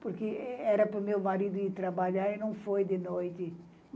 porque era para o meu marido ir trabalhar e não foi de noite.